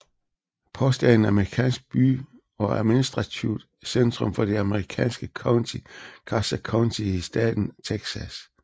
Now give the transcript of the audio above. Post er en amerikansk by og administrativt centrum for det amerikanske county Garza County i staten Texas